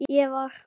Ég var